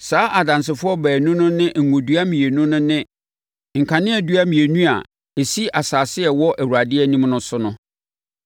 Saa adansefoɔ baanu no ne ngo dua mmienu no ne nkaneadua mmienu a ɛsi asase a ɛwɔ Awurade anim no so no.